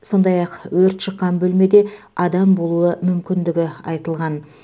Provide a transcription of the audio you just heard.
сондай ақ өрт шыққан бөлмеде адам болуы мүмкіндігі айтылған